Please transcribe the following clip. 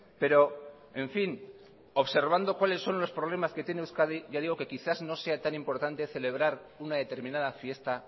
pero en fin observando cuáles son los problemas que tiene euskadi ya digo que quizás no sea tan importante celebrar una determinada fiesta